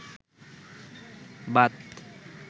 Baat